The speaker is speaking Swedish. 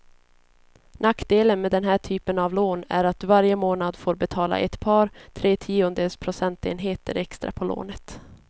Nackdelen med den här typen av lån är att du varje månad får betala ett par, tre tiondels procentenheter extra på lånet.